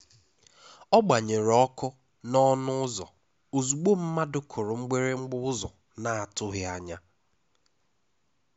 Ọ gbanyere ọkụ n’ọnụ ụ́zọ́ ozugbo mmadụ kụrụ mgbịrịgba ụ́zọ́ na-atụghị anya.